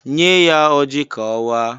"Nye ya ọji ka ọ waa"